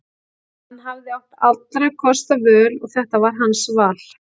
Hann hafði átt allra kosta völ og þetta var hans val.